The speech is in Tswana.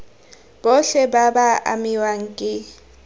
botlhe ba ba amiwang ke